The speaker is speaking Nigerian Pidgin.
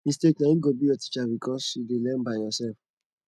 mistake na im go be your teacher because you dey learn by yourself